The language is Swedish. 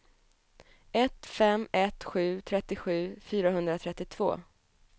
ett fem ett sju trettiosju fyrahundratrettiotvå